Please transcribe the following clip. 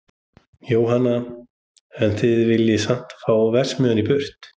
Jóhann: En þið viljið samt fá verksmiðjuna í burtu?